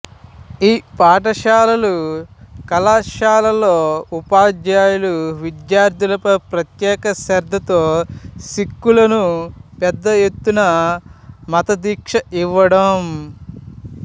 ఇ పాఠశాలలు కళాశాలల్లో ఉపాధ్యాయులు విద్యార్థులపై ప్రత్యేక శ్రద్ధతో సిక్ఖులను పెద్ద ఎత్తన మతదీక్ష ఇవ్వడం